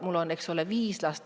Mul on viis last.